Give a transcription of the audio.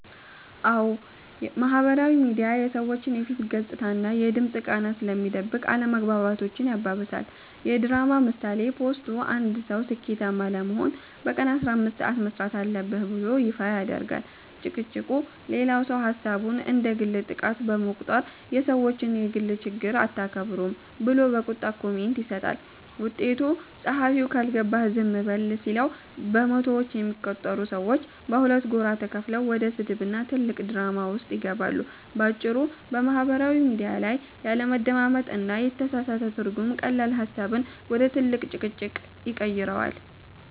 አዎ፣ ማህበራዊ ሚዲያ የሰዎችን የፊት ገጽታና የድምፅ ቃና ስለሚደብቅ አለመግባባቶችን ያባብሳል። የድራማ ምሳሌ፦ ፖስቱ፦ አንድ ሰው "ስኬታማ ለመሆን በቀን 15 ሰዓት መሥራት አለብህ" ብሎ ይፋ ያደርጋል። ጭቅጭቁ፦ ሌላው ሰው ሐሳቡን እንደ ግል ጥቃት በመቁጠር "የሰዎችን የግል ችግር አታከብሩም" ብሎ በቁጣ ኮሜንት ይሰጣል። ውጤቱ፦ ጸሐፊው "ካልገባህ ዝም በል" ሲለው፣ በመቶዎች የሚቆጠሩ ሰዎች በሁለት ጎራ ተከፍለው ወደ ስድብና ትልቅ ድራማ ውስጥ ይገባሉ። ባጭሩ፤ በማህበራዊ ሚዲያ ላይ ያለመደማመጥና የተሳሳተ ትርጉም ቀላል ሐሳብን ወደ ትልቅ ጭቅጭቅ ይቀይረዋል።